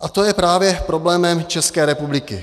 A to je právě problémem České republiky.